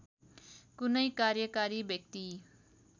कुनै कार्यकारी व्यक्ति